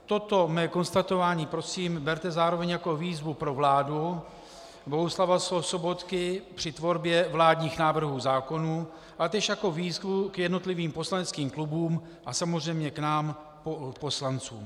Toto mé konstatování prosím berte zároveň jako výzvu pro vládu Bohuslava Sobotky při tvorbě vládních návrhů zákonů a též jako výzvu k jednotlivým poslaneckým klubům a samozřejmě k nám poslancům.